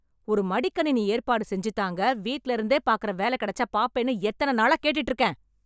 ஒரு மடிக்கணினி ஏற்பாடு செஞ்சு தாங்க, வீட்ல இருந்தே பாக்கிற வேலை கிடைச்சா பாப்பேன்னு எத்தன நாளா கேட்டுட்டு இருக்கேன்?